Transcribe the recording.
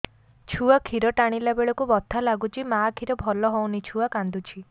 ଛୁଆ ଖିର ଟାଣିଲା ବେଳକୁ ବଥା ଲାଗୁଚି ମା ଖିର ଭଲ ହଉନି ଛୁଆ କାନ୍ଦୁଚି